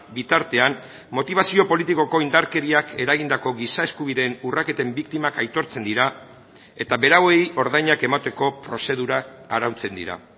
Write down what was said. bitartean motibazio politikoko indarkeriak eragindako giza eskubideen urraketen biktimak aitortzen dira eta berauei ordainak emateko prozedurak arautzen dira